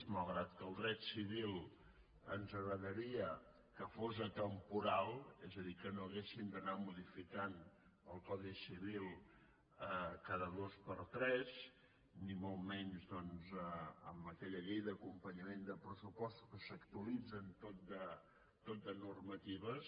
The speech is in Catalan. malgrat que el dret civil ens agradaria que fos atemporal és a dir que no haguéssim d’anar modificant el codi civil cada dos per tres ni molt menys doncs amb aquella llei d’acompanyament de pressupostos amb què s’actualitzen tot de normatives